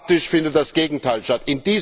Faktisch findet das Gegenteil statt.